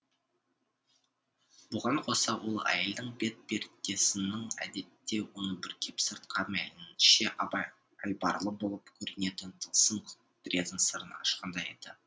бұған қоса ол әйелдің бет пердесінің әдетте оны бүркеп сыртқа мейлінше айбарлы болып көрінетін тылсым құдіреттің сырын ашқандай еді